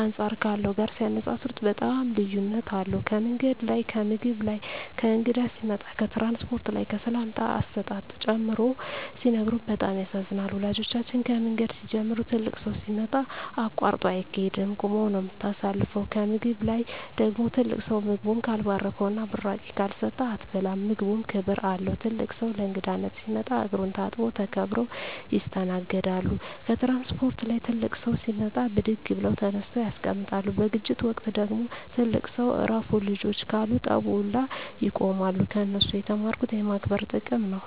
አንጻር ካለው ጋር ሲነጻጽጽሩት በጣም ልዩነት አለዉ ከምንገድ ላይ ከምግብ ላይ ከእንግዳ ሲመጣ ከትራንስፖርት ላይ ከሰላምታ አሰጣጥ ጨምሮ ሲነግሩን በጣም ያሳዝናል ወላጆቻችን ከምንገድ ሲንጀምሩ ትልቅ ሠው ሲመጣ አቃርጦ አይቂድም ቁመ ነው ምታሳልፈው ከምግብ ላይ ደግሞ ትልቅ ሰው ምግቡን ካልባረከዉና ብራቂ ካልሰጠ አትበላም ምግቡም ክብር አለው ትልቅ ሰው ለእንግዳነት ሲመጣ እግሩን ታጥቦ ተከብረው ይስተናገዳሉ ከትራንስፖርት ላይ ትልቅ ሰው ሲመጣ ብድግ ብለው ተነስተው ያስቀምጣሉ በግጭት ወቅት ደግሞ ትልቅ ሰው እረፍ ልጆቸ ካሉ ጠቡ ውላ ያቆማሉ ከነሱ የተማርኩት የማክበር ጥቅም ነው